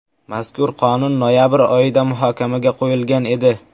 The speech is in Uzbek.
Mazkur qonun noyabr oyida muhokamaga qo‘yilgan edi.